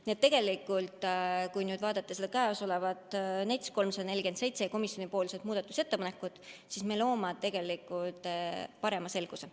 Nii et kui nüüd vaadata eelnõu 347 kohta tehtud komisjoni muudatusettepanekut, siis me loome tegelikult suurema selguse.